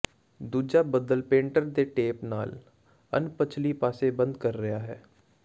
ਦੂਜਾ ਬਦਲ ਪੇਂਟਰ ਦੇ ਟੇਪ ਨਾਲ ਅਣਪਛਲੀ ਪਾਸੇ ਬੰਦ ਕਰ ਰਿਹਾ ਹੈ